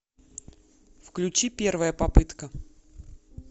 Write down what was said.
включи первая попытка